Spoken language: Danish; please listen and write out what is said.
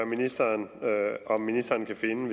ministeren om ministeren kan finde en